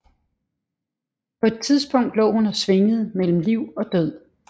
På et tidspunkt lå hun og svingede mellem liv og død